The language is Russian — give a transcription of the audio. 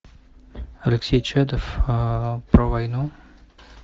алексей чадов про войну